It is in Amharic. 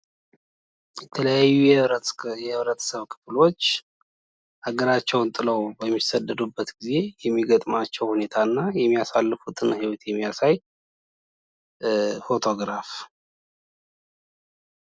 የተለያዩ የህብረተሰብ ክፍሎች ሀገራቸውን ጥለው በሚሰደዱበት ጊዜ የሚገጥማቸውን ሁኔታ እና የሚያሳልፉትን ህይወት የሚያሳይ ፎቶግራፍ ።